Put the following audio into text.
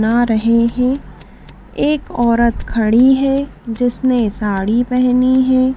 ना रहे हैं एक औरत खड़ी है जिसने साड़ी पहेनी है।